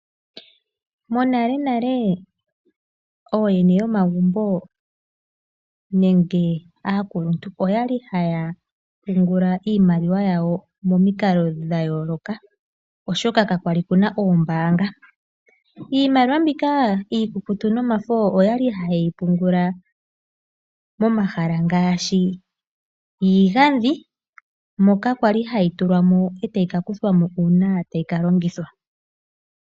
Monalenale ooyene yomagumbo nenge aakuluntu oyali haya pungula iimaliwa yawo momikalo dhayooloka oshoka kakwali kuna oombaanga. Iimaliwa mbika iikukutu nomafo oyali ha yeyi pungula momahala ngaashi iigadhi moka kwali hayi tulwa mo, e tayi ka kuthwa mo uuna tayi ka longithwa.